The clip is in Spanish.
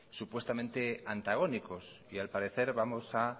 supuestamente antagónicos y al parecer vamos a